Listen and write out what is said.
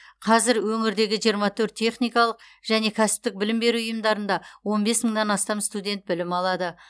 қазір өңірдегі жиырма төрт техникалық және кәсіптік білім беру ұйымдарында он бес мыңнан астам студент білім алады